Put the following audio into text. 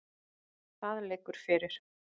Það liggur fyrir.